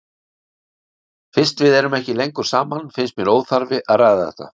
Fyrst við erum ekki lengur saman finnst mér óþarfi að ræða þetta.